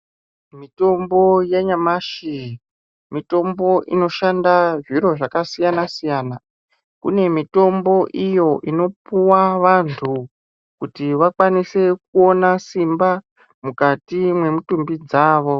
Mitombo yanyamashi mitombo inoshanda zviro zvakasiyana siyana kune mitombo iyo inopuwa vanthu kuti vakwanise kuona simba mukati mwemutumbi dzavo.